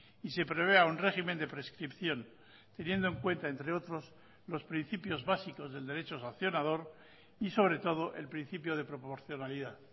y se prevea un régimen de prescripción teniendo en cuenta entre otros los principios básicos del derecho sancionador y sobre todo el principio de proporcionalidad